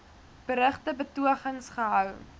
berugte betogings gehou